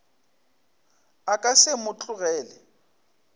a ka se mo tlogele